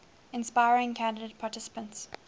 inspiring candidate participants